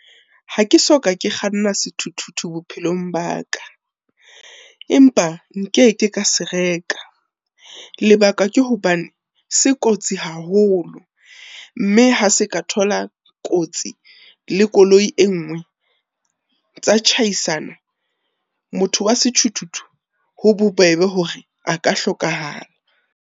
Ha ke soka ke kganna sethuthuthu bophelong ba ka, empa nke ke ka se reka. Lebaka ke hobane se kotsi haholo mme ha se ka thola kotsi le koloi e nngwe, tsa tjhaisana. Motho wa sethuthuthu ho bobebe hore a ka hlokahala.